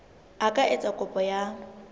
a ka etsa kopo ya